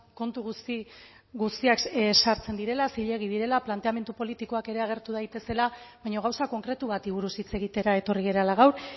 kontu guzti guztiak sartzen direla zilegi direla planteamendu politikoak ere agertu daitezela baina gauza konkretu bati buruz hitz egitera etorri garela gaur